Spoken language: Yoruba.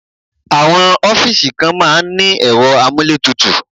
Àwọn ọ́fíìsì kan máa ń ní ẹ̀rọ amúlétutù.